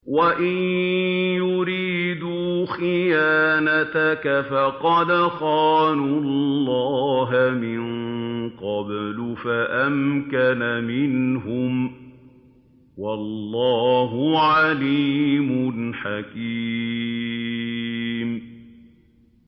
وَإِن يُرِيدُوا خِيَانَتَكَ فَقَدْ خَانُوا اللَّهَ مِن قَبْلُ فَأَمْكَنَ مِنْهُمْ ۗ وَاللَّهُ عَلِيمٌ حَكِيمٌ